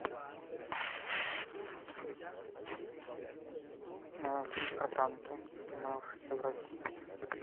фильм про танки снимавшийся в россии